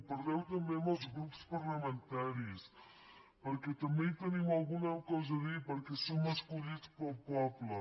parleu també amb els grups parlamentaris perquè també hi tenim alguna cosa a dir perquè som escollits pel poble